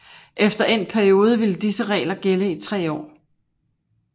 Efter endt periode ville disse regler gælde i tre år